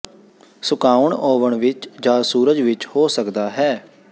ਸੁਕਾਉਣ ਓਵਨ ਵਿੱਚ ਜ ਸੂਰਜ ਵਿੱਚ ਹੋ ਸਕਦਾ ਹੈ